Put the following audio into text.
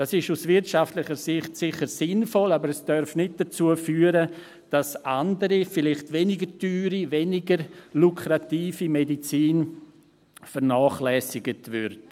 Dies ist aus wirtschaftlicher Sicht sicher sinnvoll, aber es darf nicht dazu führen, dass andere, vielleicht weniger teure und weniger lukrative Medizin vernachlässigt wird.